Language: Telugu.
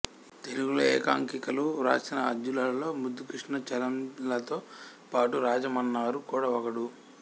తెలుగులో ఏకాంకికలు వ్రాసిన ఆద్యులలో ముద్దుకృష్ణ చలంలతో పాటు రాజమన్నారు కూడా ఒకడు